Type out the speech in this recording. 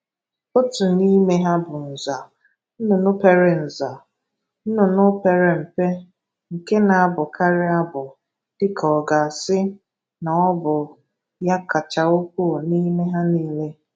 Otu n’ime ha bụ Nza, nnụnụ pere Nza, nnụnụ pere mpe nke na-abụ̀karị abụ dị ka a ga-àsì na ọ bụ ya kacha ùkwù n’ime ha niile.